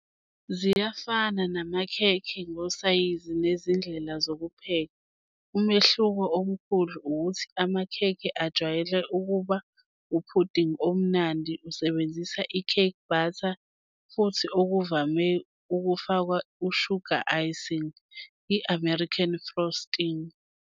Ziyafana namakhekhe ngosayizi nezindlela zokupheka, umehluko omkhulu ukuthi amakhekhe ajwayele ukuba uphudingi omnandi usebenzisa i-cake batter futhi okuvame ukufakwa i-sugar icing, i-American frosting.